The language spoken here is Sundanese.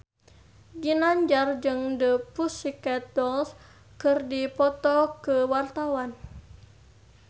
Ginanjar jeung The Pussycat Dolls keur dipoto ku wartawan